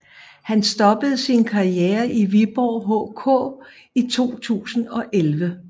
Han stoppede sin karriere i Viborg HK i 2011